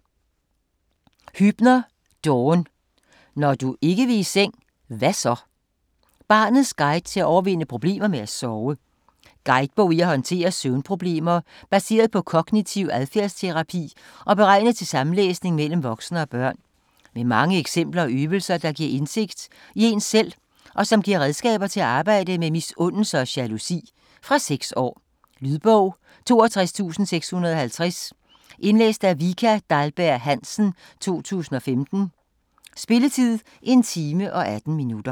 Huebner, Dawn: Når du ikke vil i seng - hvad så?: barnets guide til at overvinde problemer med at sove Guidebog i at håndtere søvnproblemer, baseret på kognitiv adfærdsterapi og beregnet til samlæsning mellem voksne og børn. Med mange eksempler og øvelser, der giver indsigt i en selv og som giver redskaber til at arbejde med misundelse og jalousi. Fra 6 år. Lydbog 42650 Indlæst af Vika Dahlberg-Hansen, 2015. Spilletid: 1 time, 18 minutter.